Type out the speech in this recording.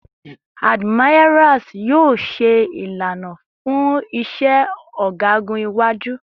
Admirals yoo ṣe ilana fun iṣẹ ọgagun iwaju